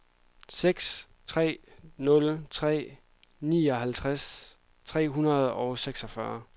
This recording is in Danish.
seks tre nul tre nioghalvtreds tre hundrede og seksogfyrre